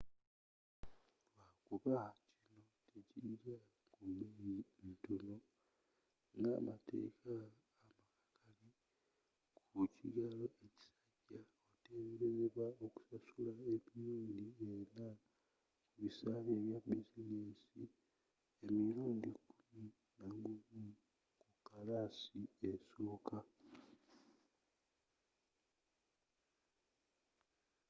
lwakuba kino tekijja ku bbeyi ntono ngamateeka amakakali ku kigalo ekisajja otebereza okusasula emirundi ena ku bisale bya bizinensi nemirundi kkumi nagumu mu kkalaasi esooka